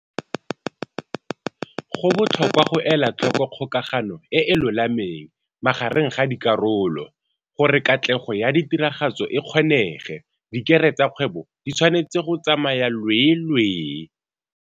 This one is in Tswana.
Go botlhokwa go ela tlhoko kgokagano e e lolameng magareng ga dikarolo. Gore katlego ya tiragatso e kgonege, dikere tsa kgwebo di tshwanetse go tsamaya lweelwee.